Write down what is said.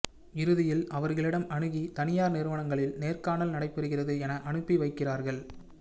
இறுதியில் அவர்களிடம் அணுகி தனியார் நிறுவனங்களில் நேர்காணல் நடைபெறுகிறது என அனுப்பி வைக்கிறார்கள்